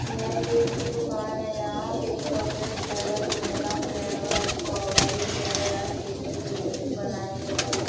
यह केक की दुकान है यहां पे chocolate flavour vanilla flavour strawberry flavour हर तरीके के केक बनाए हुएं हैं।